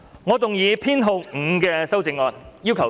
我動議編號5的修正案。